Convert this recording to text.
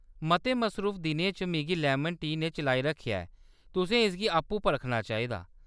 मते मसरूफ दिनें च मिगी लैमन टी ने चलाई रक्खेआ ऐ, तुसें इसगी आपूं परखना चाहिदा।